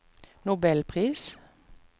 nobelpris